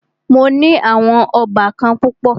Mó ní àwọn óbàkan púpọ̀.